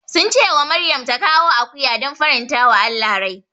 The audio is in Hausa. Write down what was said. Sun ce wa Maryam ta kawo akuya don farantawa Allah rai.